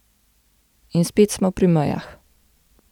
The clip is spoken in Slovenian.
In spet smo pri mejah.